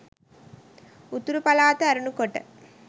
උතුරු පළාත ඇරුණු කොට